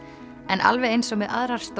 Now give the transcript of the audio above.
alveg eins og með aðrar